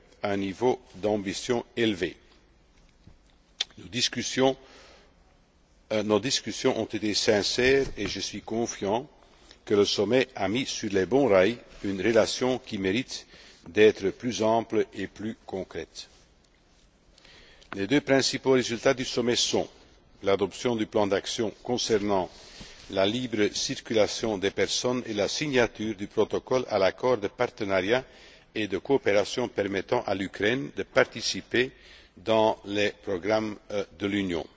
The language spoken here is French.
avec un niveau d'ambition élevé. Nos discussions ont été sincères et je suis confiant que le sommet a mis sur les bons rails une relation qui mérite d'être plus ample et plus concrète. Les deux principaux résultats du sommet sont l'adoption du plan d'action concernant la libre circulation des personnes et la signature du protocole à l'accord de partenariat et de coopération permettant à l'Ukraine de participer aux programmes de l'Union.